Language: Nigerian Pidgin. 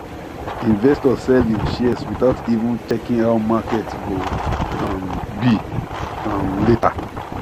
investor sell him shares without even checking how market go um be um later